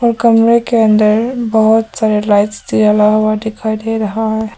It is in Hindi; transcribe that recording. और कमरे के अंदर बहुत सारा लाइट्स जला हुआ दिखाई दे रहा है।